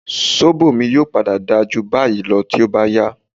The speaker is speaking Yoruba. Sóbò mi yóò padà dáa jù báyìí lọ tó bá yá